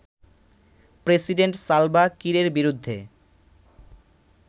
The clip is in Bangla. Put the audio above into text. প্রেসিডেন্ট সালভা কিরের বিরুদ্ধে